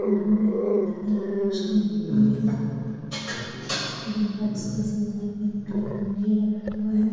और उधर काफी सारी लाइट्स लगी हुई हैं उधर रखा हुआ है ।